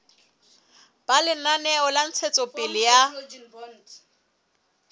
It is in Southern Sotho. ba lenaneo la ntshetsopele ya